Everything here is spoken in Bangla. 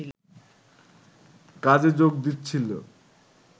কাজে যোগ দিচ্ছিলো